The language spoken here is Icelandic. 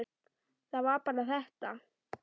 Það var bara þetta.